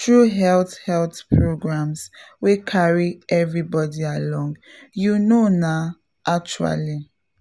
through health health programs wey carry everybody along — you know na actually!